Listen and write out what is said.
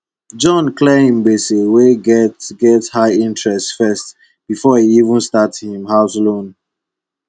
john clear him gbese wey get get high interest first before e even start him house loan